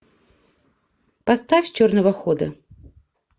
поставь черного хода